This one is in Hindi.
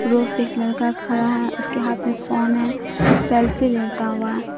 रोड पे एक लड़का खड़ा है उसके हाथ में फोन है सेल्फी लेता हुआ--